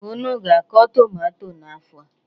Unu ga-akọ tụmato n'afọ a?